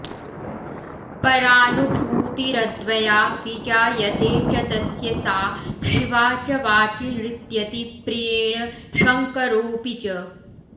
परानुभूतिरद्वया विजायते च तस्य सा शिवा च वाचि नृत्यति प्रियेण शङ्करोऽपि च